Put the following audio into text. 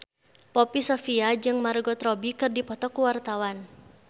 Poppy Sovia jeung Margot Robbie keur dipoto ku wartawan